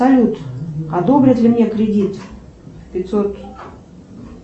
салют одобрят ли мне кредит пятьсот